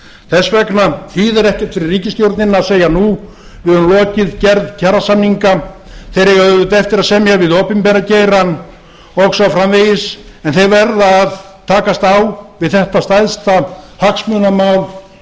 þess vegna þýðir ekkert fyrir ríkisstjórnina að segja nú við höfum lokið gerð kjarasamninga þeir eiga auðvitað eftir að semja við opinbera geirann og svo framvegis en þeir verða að takast á við þetta stærsta hagsmunamál